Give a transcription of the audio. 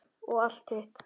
Og allt hitt.